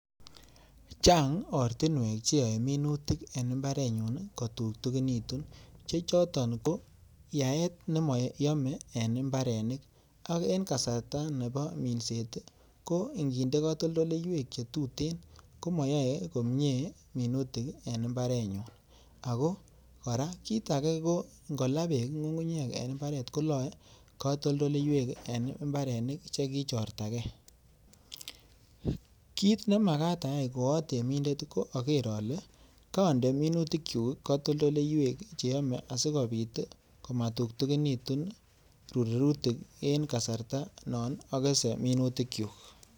Chang ortinwek che yoe minutik en mbarenyun kotutekinitu, che choto ko: Yaet nemoyome en mbarenik ak en kasarta nebo minset ko inginde katoltoleiwek che tuten komoyae komyee minutik en mbarenyun. Ago kora kit age ngo laa beek ng'ung'unyek en mbarenyun kolae katoltoleiwek en mbarenik che kichortage. Kit nemagaat ayae koatemindet ko ager ale konde mintuik kyuk katoltoleiywek che yome asikobit komatutekinitu rurutik en kasarta non agese minutik kyuk.